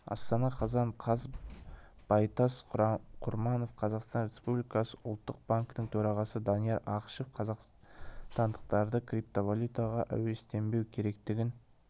астана қазан қаз байтас құрманов қазақстан республикасы ұлттық банкінің төрағасы данияр ақышев қазақстандықтарды криптовалютаға әуестенбеу керектігін